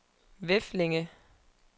Veflinge